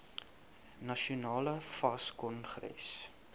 nasionale fas kongres